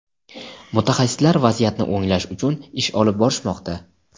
mutaxassislar vaziyatni o‘nglash uchun ish olib borishmoqda.